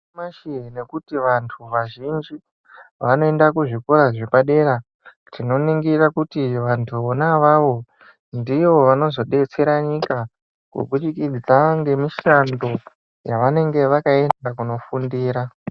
Nyamashi nekuti vantu vazhinji vanoenda kuzvikora zvepadera tinoningira kuti vantu vona avavo ndivo vanozodetsera nyika kubudikidza ngemishando yavanenge vakaenda kunofundira.